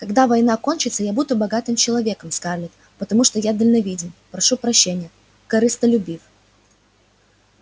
когда война кончится я буду богатым человеком скарлетт потому что я дальновиден прошу прощения корыстолюбив